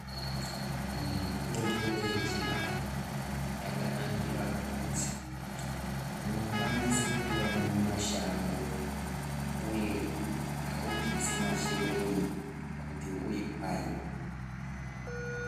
Mitimbo yechianhu yakanakira kuti unokwanisa kuiana mushango uye kuti aubvisi mashereni kuti uiane.